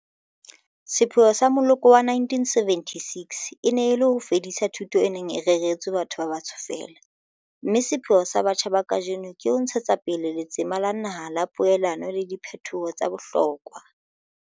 Sepheo sa moloko wa 1976 e ne e le ho fedisa thuto e neng e reretswe batho ba batsho feela, mme sepheo sa batjha ba kajeno ke ho ntshetsa pele letsema la naha la poelano le diphetoho tsa bohlokwa.